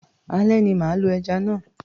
Ale ni mà á lo ẹja náà.